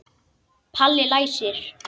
Palli læsir.